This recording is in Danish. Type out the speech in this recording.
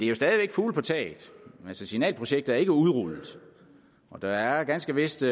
jo stadig væk fugle på taget signalprojektet er ikke udrullet der er ganske vist